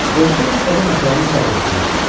Qozbel istədi məsələni səbirlə həll eləsin.